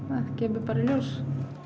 það kemur bara í ljós